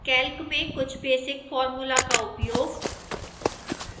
calc में कुछ basic formula का उपयोग